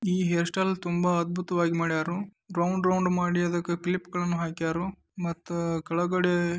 ಈ hairstyle ತುಂಬಾ ಅದ್ಭುತವಾಗಿ ಮಾಡ್ಯಾರು ರೌಂಡ್ ರೌಂಡ್ ಮಾಡಿ ಅದಕ್ಕೆ ಕ್ಲಿಪ್ ಹಾಕ್ಯಾರು .ಮತ್ತು ಕೆಳಗಡೆ --